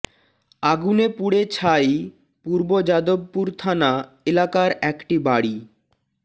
আগুনে পুড়ে ছাই পূর্ব যাদবপুর থানা এলাকার একটি বাড়ি